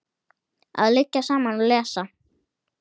Að liggja saman og lesa.